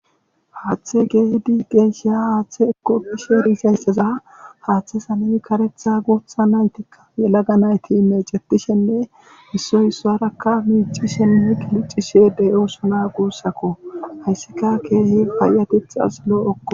haaththe keehidi geessha haaththe ekokishe riisaysseza haaththe same karetha gootha naytikka yelaga nayti meecetishenne issoy issarakka miicishenne kiliccishe deyosuna guussakko hayssika keesi payateth as loo7okko